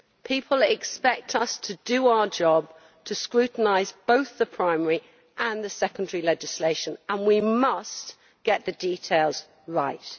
People expect us to do our job, to scrutinise both the primary and the secondary legislation, and we must get the details right.